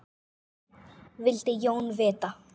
vildi Jón vita.